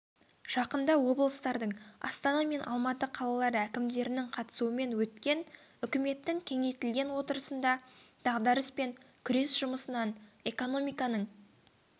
жақында облыстардың астана мен алматы қалалары әкімдерінің қатысуымен өткен үкіметтің кеңейтілген отырысында дағдарыспен күрес жұмысынан экономиканың